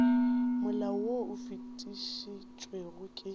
molao wo o fetišitšwego ke